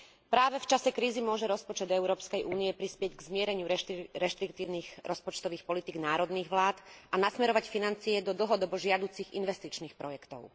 Práve v čase krízy môže rozpočet Európskej únie prispieť k zmierneniu reštriktívnych rozpočtových politík národných vlád a nasmerovať financie do dlhodobo žiaducich investičných projektov.